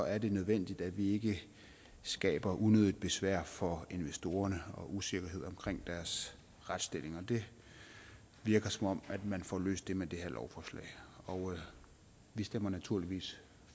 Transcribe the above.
er det nødvendigt at vi ikke skaber unødigt besvær for investorerne og usikkerhed omkring deres retsstilling det virker som om man får løst det med det her lovforslag vi stemmer naturligvis